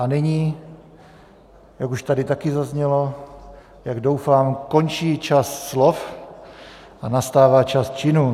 A nyní, jak už tady taky zaznělo, jak doufám, končí čas slov a nastává čas činů.